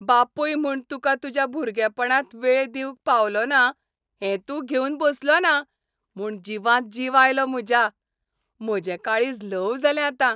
बापूय म्हूण तुका तुज्या भुरगेपणांत वेळ दिवंक पावलों ना हें तूं घेवन बसलोना म्हूण जिवांत जीव आयलो म्हज्या. म्हजें काळीज ल्हव जालें आतां.